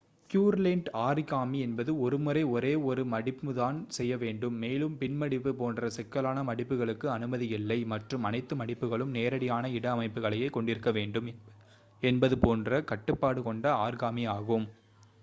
Pureland origami என்பது ஒரு முறை ஒரே ஒரு one மடிப்பு தான் செய்யவேண்டும் மேலும் பின் மடிப்பு போன்ற சிக்கலான மடிப்புகளுக்கு அனுமதி இல்லை மற்றும் அனைத்து மடிப்புகளும் நேரடியான இட அமைப்புகளையே கொண்டிருக்க வேண்டும் என்பது போன்ற கட்டுப்பாடு கொண்ட ஆரிகாமி ஆகும்